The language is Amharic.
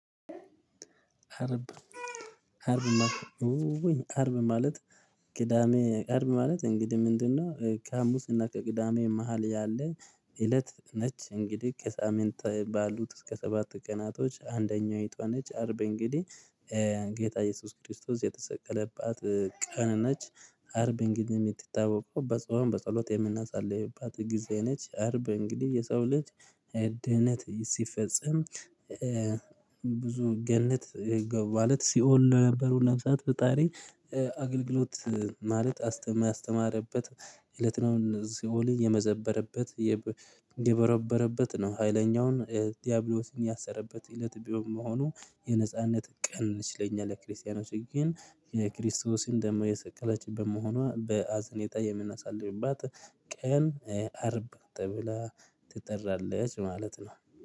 አርብ አርብ ውውይ ማለት ቅዳሜ አርብ ማለት እንግዲህ ምንድነው ከሀሙስና ከቅዳሜ መሃል ያለ እለት ነች። እንግዲህ ከሳምንት ባሉት እስከ ሰባት ቀናቶች አንደኛይቱዋ ነች። አርብ እንግዲህ ጌታ ኢየሱስ ክርስቶስ የተሰቀለባት ቀን ነች። አርብ እንግዲህ ምትታወቀው በጾም በጸሎት የምናሳልፍባት ጊዜ ነች። አርበ እንግዲህ የሰው ልጅ ድህነት ሲፈጸም ብዙ ገነት ገቡ ማለት ሲኦል ለነበሩ ነብሳት ፈጣሪ አገልግሎት ማለት አስተማረበት እለት ነው። ሲኦል የመዘበረበት የበረበረበት ነው። ሀይለኛውን ዲያብሎስን ያሰረበት እለት በመሆኑ የነጻነት ቀን ነች። ለኛ ለክርስቲያኖች ግን የክርስቶስን ደግሞ የሰቀለችበት መሆኗ በሀዘኔታ የምናሳልፍባት ቀን አርብ ተብላ ትጠራለች ማለት ነው።